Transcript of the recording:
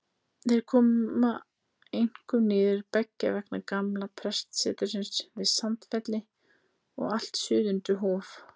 Þau komu einkum niður beggja vegna gamla prestsetursins að Sandfelli og allt suður undir Hof.